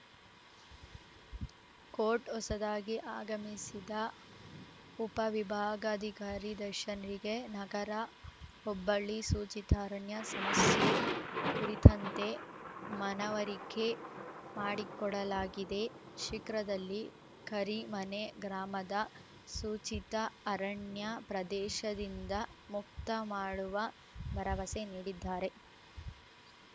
coat ಹೊಸದಾಗಿ ಆಗಮಿಸಿದ ಉಪವಿಭಾಗಾಧಿಕಾರಿ ದಶನ್‌ಗೆ ನಗರ ಹೊಬ್ಬಳ್ಳಿ ಸೂಚಿತ ಅರಣ್ಯ ಸಮಸ್ಯೆ ಕುರಿತಂತೆ ಮನವರಿಕೆ ಮಾಡಿಕೊಡಲಾಗಿದೆ ಶೀಕ್ರದಲ್ಲಿ ಕರಿಮನೆ ಗ್ರಾಮದ ಸೂಚಿತ ಅರಣ್ಯ ಪ್ರದೇಶದಿಂದ ಮುಕ್ತ ಮಾಡುವ ಭರವಸೆ ನೀಡಿದ್ದಾರೆ